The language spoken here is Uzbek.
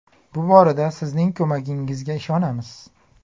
Bu borada sizning ko‘magingizga ishonamiz.